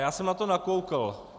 Já jsem na to nakoukl.